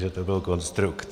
Že to byl konstrukt.